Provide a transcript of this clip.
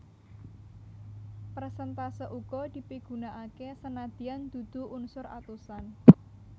Persèntase uga dipigunakaké senadyan dudu unsur atusan